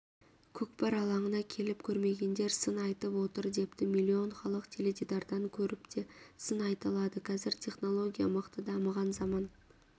көкпар алаңына келіп көрмегендер сын айтып отыр депті миллион халық теледидардан көріпте сын айталады қәзір технология мықты дамыған заман